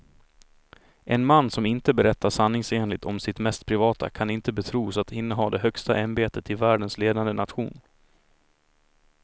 En man som inte berättar sanningsenligt om sitt mest privata kan inte betros att inneha det högsta ämbetet i världens ledande nation.